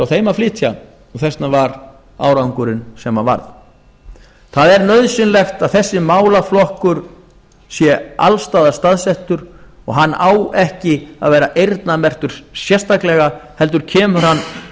þeim að flytja og þess vegna var árangurinn sem hann varð það er nauðsynlegt að þessi málaflokkur sé alls staðar staðsettur og hann á ekki að vera eyrnamerktur sérstaklega heldur kemur hann